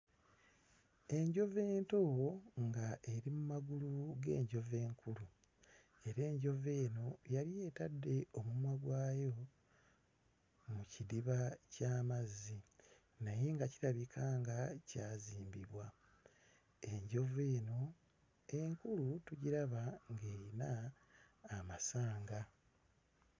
Enjovu ento ng'eri mu magulu g'enjovu enkulu era enjovu eno yali etadde omumwa gwayo mu kidiba ky'amazzi naye nga kirabika nga kyazimbibwa. Enjovu eno enkulu tugiraba ng'eyina amasanga.